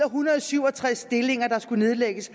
hundrede og syv og tres stillinger der skulle nedlægges